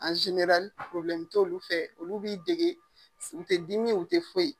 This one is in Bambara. Ani probilɛmu t'olu fɛ olu b'i degege u tɛ dimi u tɛ foyi.